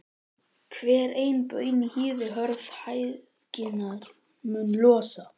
Hver ein baun í hýði hörð hægðirnar mun losa.